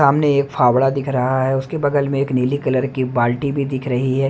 सामने एक फावड़ा दिख रहा है उसके बगल में एक नीली कलर की बाल्टी भी दिख रही है।